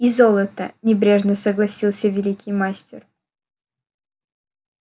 и золото небрежно согласился великий мастер